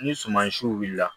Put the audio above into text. Ni sumansiw wulila